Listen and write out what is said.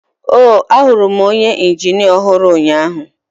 oh, ahụrụ m onye injinia ọhụrụ ụnyahụ.